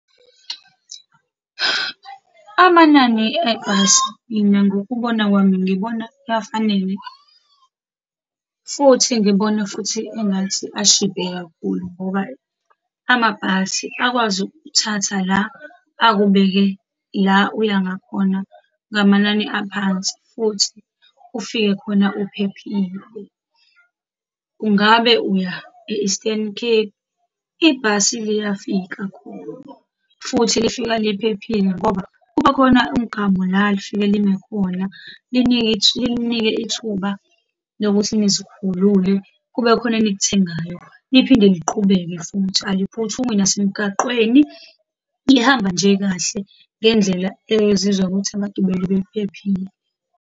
Amanani ebhasi, mina ngokubona kwami ngibona afanele, futhi ngibona futhi engathi ashibhe kakhulu ngoba, amabhasi akwazi ukuk'thatha la, akubeke la uya ngakhona ngamanani aphansi, futhi ufike khona uphephile. Kungabe uya e-Eastern Cape, ibhasi liyafika khona, futhi lifika liphephile, ngoba kuba khona umgamu la lifike lime khona, linike, lininike ithuba lokuthi nizikhulule, kube khona enikuthengayo. Liphinde liqhubeke, futhi aliphuthumi nasemgaqweni, lihamba nje kahle ngendlela ezizwa ukuthi abagibeli bephephile.